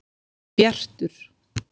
Bjartur